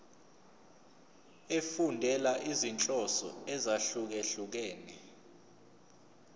efundela izinhloso ezahlukehlukene